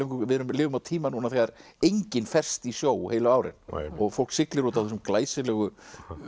við lifum á tíma núna þegar enginn ferst í sjó á ári og fólk siglir út á þessum glæsilegu